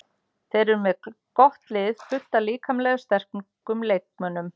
Þeir eru með gott lið, fullt af líkamlega sterkum leikmönnum.